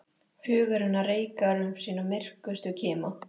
Hugur hennar reikar um sína myrkustu kima.